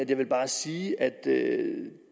jeg vil bare sige at